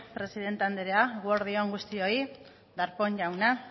presidente anderea eguerdi on guztioi darpón jauna